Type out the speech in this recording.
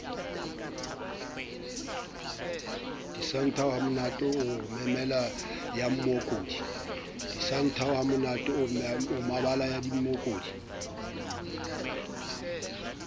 disanthao hamonate o mebala yamookodi